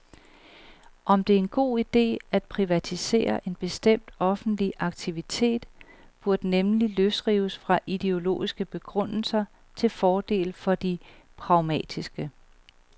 Om det er en god ide at privatisere en bestemt offentlig aktivitet, burde nemlig løsrives fra ideologiske begrundelser til fordel for de pragmatiske.